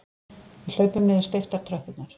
Við hlaupum niður steyptar tröppurnar.